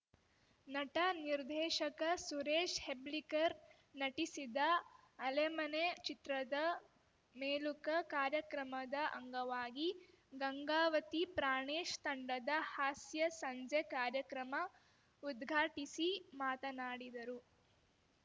ನಟ ನಿರ್ದೇಶಕ ಸುರೇಶ್‌ ಹೆಬ್ಳೀಕರ್‌ ನಟಿಸಿದ ಅಲೆಮನೆ ಚಿತ್ರದ ಮೆಲುಕ ಕಾರ್ಯಕ್ರಮದ ಅಂಗವಾಗಿ ಗಂಗಾವತಿ ಪ್ರಾಣೇಶ್‌ ತಂಡದ ಹಾಸ್ಯಸಂಜೆ ಕಾರ್ಯಕ್ರಮ ಉದ್ಘಾಟಿಸಿ ಮಾತನಾಡಿದರು